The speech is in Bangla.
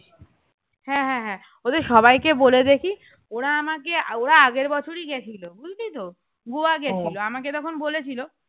হ্যাঁ হ্যাঁ হ্যাঁ ওদের কে সবাই কে বলে দেখি ওড়া আমাকে ওরা আগের বছরই গেছিল বুঝলি তো গোয়া গেছিল, আমাকে তখন বলেছিল